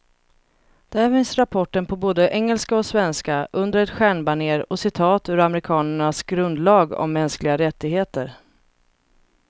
Där finns rapporten på både engelska och svenska, under ett stjärnbanér och citat ur amerikanernas grundlag om mänskliga rättigheter.